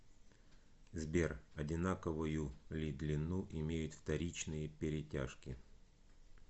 сбер одинаковую ли длину имеют вторичные перетяжки